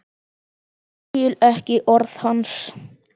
Skil ekki orð hans.